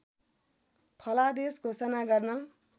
फलादेश घोषणा गर्न